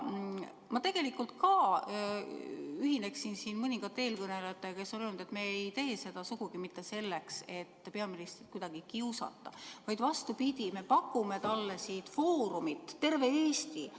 Ma tegelikult ka ühineksin siin mõningate eelkõnelejatega, kes on öelnud, et me ei tee seda sugugi mitte selleks, et peaministrit kuidagi kiusata, vaid vastupidi, me pakume talle siit foorumit, mis on terve Eesti.